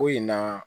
Ko in na